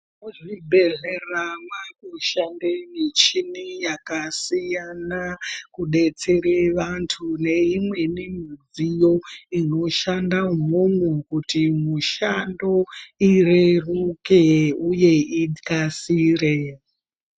Muzvibhedhlera mwakushande michini yakasiyana kudetsera vantu neimweni midziyo inoshanda umwomwo kuti mishando ireruke uye ikasire.